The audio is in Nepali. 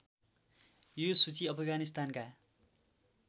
यो सूची अफगानिस्तानका